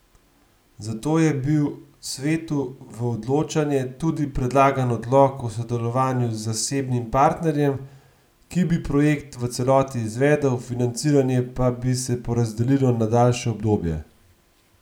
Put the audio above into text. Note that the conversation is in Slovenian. Za to je bil svetu v odločanje tudi predlagan odlok o sodelovanju z zasebnim partnerjem, ki bi projekt v celoti izvedel, financiranje pa bi se porazdelilo na daljše obdobje.